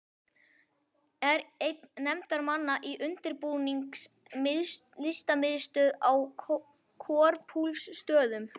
Er einn nefndarmanna til undirbúnings Listamiðstöð á Korpúlfsstöðum.